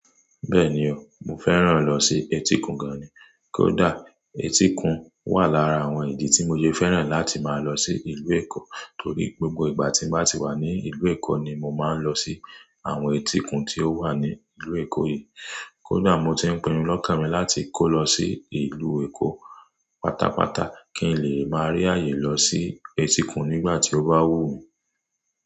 Bẹ́ẹ̀ni o, mo fẹ́ràn lọ sí etíkun gan ni. Kódà etíkun wà lára àwọn ìdí tí mo sẹ fẹ́ràn láti máa lọ sí ìlú Èkó torí gbogbo ìgbà tí mo bá ti wà ní ìlú Èkó ni mo máa ń lọ sí àwọn etíkun ti o wà ní ìlú Èkó yìí. Kódà mo ti ń pinnu lọ́kàn mi láti kó lọ sí ìlú Èkó pátápátá kí n lè máa rí àyè lọ sí etíkun nígbà tí ó bá wù mí.